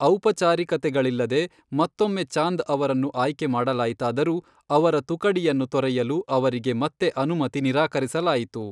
ಔಪಚಾರಿಕತೆಗಳಿಲ್ಲದೆ ಮತ್ತೊಮ್ಮೆ ಚಾಂದ್ ಅವರನ್ನು ಆಯ್ಕೆ ಮಾಡಲಾಯಿತಾದರೂ, ಅವರ ತುಕಡಿಯನ್ನು ತೊರೆಯಲು ಅವರಿಗೆ ಮತ್ತೆ ಅನುಮತಿ ನಿರಾಕರಿಸಲಾಯಿತು.